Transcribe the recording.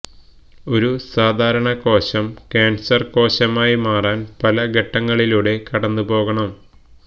ഒരു സാധാരണ കോശം കാന്സര് കോശമായി മാറാന് പല ഘട്ടങ്ങളിലൂടെ കടന്നുപോകണം